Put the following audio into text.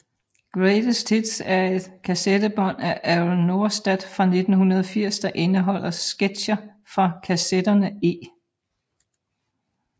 Greatest Hits er et kassettebånd af Errol Norstedt fra 1980 der indeholder sketcher fra kassetterne E